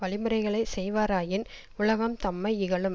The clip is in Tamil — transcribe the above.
வழிமுறைகளை செய்வாராயின் உலகம் தம்மை இகழும்